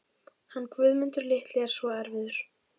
Hann Guðmundur litli er svo erfiður.